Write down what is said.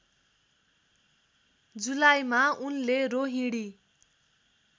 जुलाईमा उनले रोहिणी